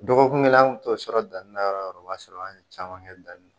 Dɔgɔkun kelen an kun t'o sɔrɔ danni na yɔrɔ o yɔrɔ o b'a sɔrɔ an ye caman kɛ danni